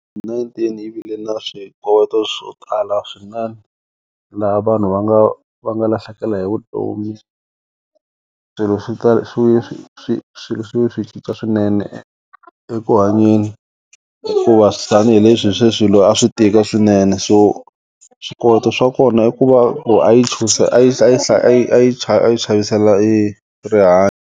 Nineteen yi vile na swikoweto swo tala swinene laha vanhu va nga va nga lahlekela hi vutomi swilo swi swi swi swi swi swilo swi ve swi cinca swinene eku hanyeni hikuva tanihileswi se swi swilo a swi tika swinene so swikoweto swa kona i ku va a yi a yi a yi a yi a yi chavi a yi xavisela rihanyo.